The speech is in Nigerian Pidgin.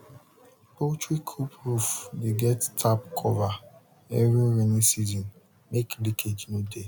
poultry coop roof dey get tap cover every rainy season make leakage nor de